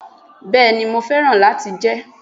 Béeni, mo féràn láti jé